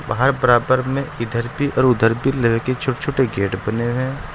बाहर बराबर में इधर भी और उधर भी लोहे की छोटे-छोटे गेट बने हुए हैं।